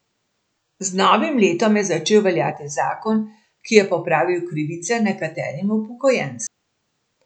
Z novim letom je začel veljati zakon, ki je popravil krivice nekaterim upokojencem.